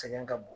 Sɛgɛn ka bon